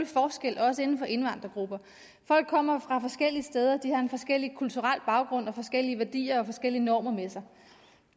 forskel også inden for indvandrergrupper folk kommer fra forskellige steder de har forskellige kulturelle baggrunde forskellige værdier og forskellige normer med sig